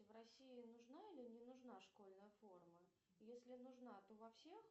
в россии нужна или не нужна школьная форма если нужна то во всех